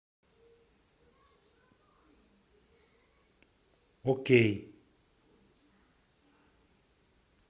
окей